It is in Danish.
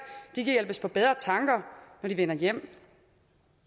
de kan hjælpes på bedre tanker når de vender hjem